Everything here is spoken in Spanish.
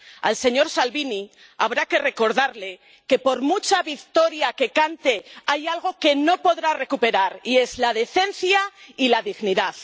Al señor Salvini habrá que recordarle que, por mucha victoria que cante, hay algo que no podrá recuperar y es la decencia y la dignidad.